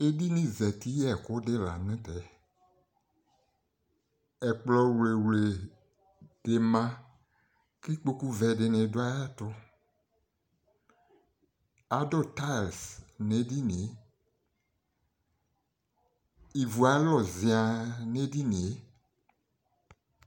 Edini zati yɛkʋ di lanutɛƐkplɔ wlewle di maKikpoku vɛ di ni dʋ ayɛtuAdʋ tiles nedinieIvu alu ziann edinie